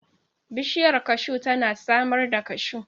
Bishiyar kashu tana samar da kashu.